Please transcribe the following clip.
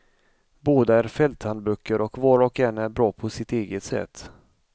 Båda är fälthandböcker och var och en är bra på sitt eget sätt.